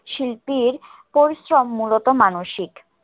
শিল্পীর পরিশ্রম মুলত মানসিক।